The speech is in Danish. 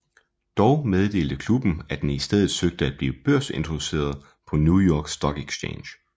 Dog meddelte klubben at den i stedet søgte at blive børsintroduceret på New York Stock Exchange